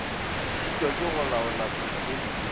šitwa ke go laola potfolio